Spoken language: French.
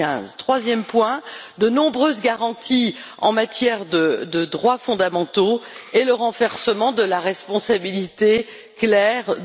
2015. Troisième point de nombreuses garanties en matière de droits fondamentaux et le renversement de la responsabilité claire de